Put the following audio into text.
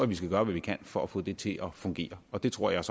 vi skal gøre hvad vi kan for at få det til fungere og det tror jeg